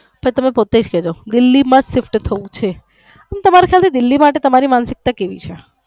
પછી તમે પોતે જ કેસો દિલ્હી માં જ ફક્ત છે અને તમારી સાથે દિલ્હી માટે તમારી માનસિકતા કેવી છે.